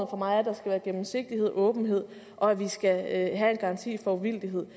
for mig at der skal være gennemsigtighed åbenhed og at vi skal have en garanti for uvildighed